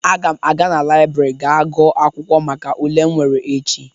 Aga m aga na laịbrị ga gụọ akwụkwọ maka ule m nwere echi.